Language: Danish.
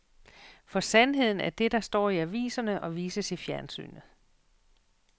For sandheden er det, der står i aviserne og vises i fjernsynet.